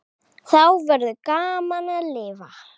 Þá verður gaman að lifa.